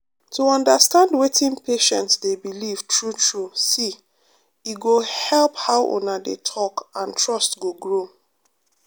to understand wetin patient dey believe true true see e go help how una dey talk and trust go grow.